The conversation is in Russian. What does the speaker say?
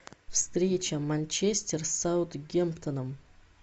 встреча манчестер с саутгемптоном